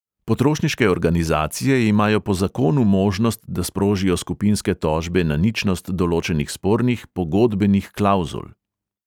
Potrošniške organizacije imajo po zakonu možnost, da sprožijo skupinske tožbe na ničnost določenih spornih pogodbenih klavzul.